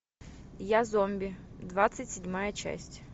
я зомби двадцать седьмая часть